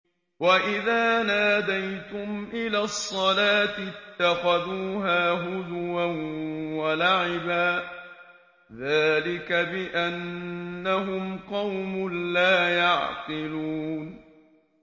وَإِذَا نَادَيْتُمْ إِلَى الصَّلَاةِ اتَّخَذُوهَا هُزُوًا وَلَعِبًا ۚ ذَٰلِكَ بِأَنَّهُمْ قَوْمٌ لَّا يَعْقِلُونَ